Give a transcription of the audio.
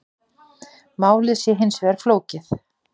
Málið sé hins vegar flókið